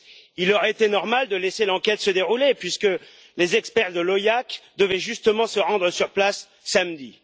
Il aurait été normal de laisser l'enquête se dérouler puisque les experts de l'OIAC devaient justement se rendre sur place samedi.